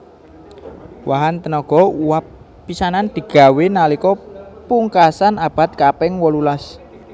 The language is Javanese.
Wahan tenaga uwab pisanan digawé nalika pungkasan abad kaping wolulas